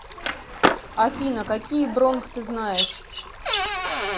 афина какие бронх ты знаешь